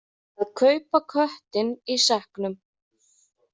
Að kaupa köttinn í sekknum